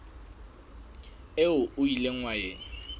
eo o ileng wa e